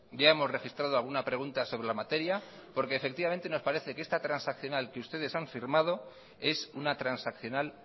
ya hemos registrado alguna pregunta sobre la materia porque efectivamente nos parece que esta transaccional que ustedes han firmado es una transaccional